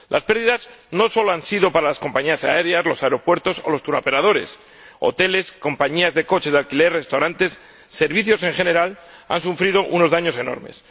Las pérdidas no solo han sido para las compañías aéreas, los aeropuertos o los turoperadores hoteles, compañías de coches de alquiler, restaurantes, servicios en general, han sufrido unos daños enormes.